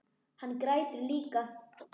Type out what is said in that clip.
Hann grætur líka.